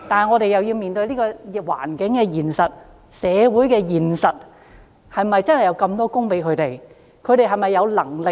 我們要面對社會環境的現實，是否真的有這麼多工作讓他們選擇呢？